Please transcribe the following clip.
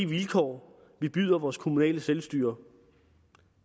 vilkår vi byder vores kommunale selvstyre